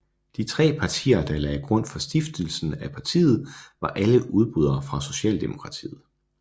De tre partier der lagde grund for stiftelsen af partiet var alle udbrydere fra Socialdemokratiet